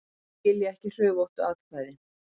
Skilja ekki hrufóttu atkvæðin